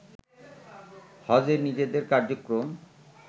হজে নিজেদের কার্যক্রম